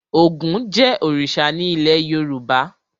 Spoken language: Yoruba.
Ògún jẹ́ òrìṣà ní ilé Yorùbá.